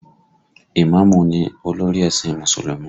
Ìmáàmù ni olórí ẹ̀sìn Mùsùlùmí